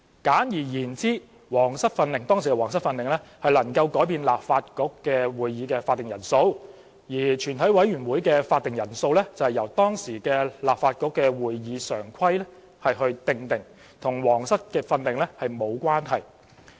簡而言之，《皇室訓令》能更改立法局會議的法定人數，全委會的會議法定人數則由當時立法局的《會議常規》訂定，與《皇室訓令》沒有關係。